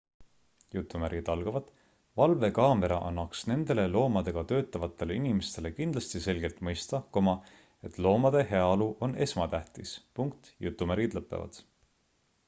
"""valvekaamera annaks nendele loomadega töötavatele inimestele kindlasti selgelt mõista et loomade heaolu on esmatähtis.""